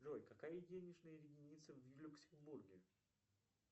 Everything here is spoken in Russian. джой какая денежная единица в люксембурге